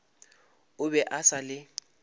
o be a sa le